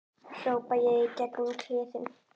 hrópa ég í gegn um kliðinn.